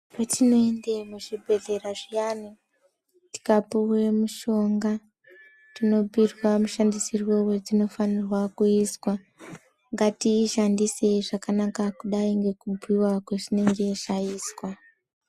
Petinoende muzvibhehleya zviyani tikapiwe mishonga tinobhuirwa mushandisirwe wedzinofanirwe kuizwa, ngatiishandise zvakanaka sekubhuiwa kwazvinenge zvaizwa.